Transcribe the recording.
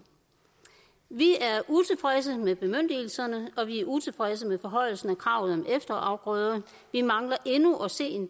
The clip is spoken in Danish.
vi er utilfredse med bemyndigelserne og vi er utilfredse med forhøjelsen af kravet om efterafgrøder vi mangler endnu at se